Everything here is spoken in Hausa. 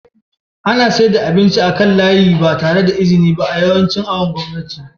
ana saida abinci a kan layika ba tare da iziniba a yancin awon gomnati